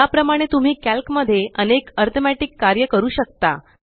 याप्रमाणे तुम्ही कॅल्क मध्ये अनेक अरित्मॅटिक कार्य करू शकता